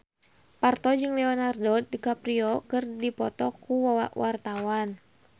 Parto jeung Leonardo DiCaprio keur dipoto ku wartawan